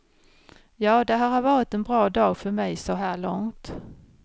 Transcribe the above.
Ja, det här har varit en väldigt bra dag för mig så här långt.